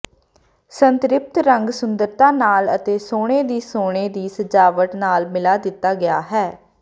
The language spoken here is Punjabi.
ਸੰਤ੍ਰਿਪਤ ਰੰਗ ਸੁੰਦਰਤਾ ਨਾਲ ਅਤੇ ਸੋਨੇ ਦੀ ਸੋਨੇ ਦੀ ਸਜਾਵਟ ਨਾਲ ਮਿਲਾ ਦਿੱਤਾ ਗਿਆ ਹੈ